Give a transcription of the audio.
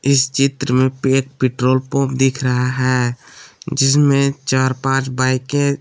इस चित्र में एक पेट्रोल पंप दिख रहा है जिसमें चार पांच बाईकें--